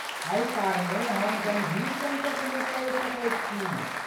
एहि कारणेँ हम गम्भीर संकटमे पड़ि सकैत छी।